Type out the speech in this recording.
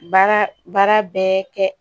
Baara baara bɛɛ kɛ